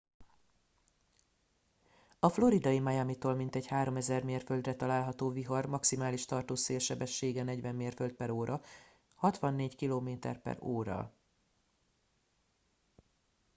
a floridai miamitól mintegy 3000 mérföldre található vihar maximális tartós szélsebessége 40 mérföld/h 64 km/h